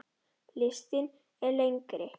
Listinn er lengri.